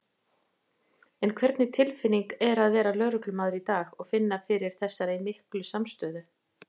En hvernig tilfinning er að vera lögreglumaður í dag og finna fyrir þessari miklu samstöðu?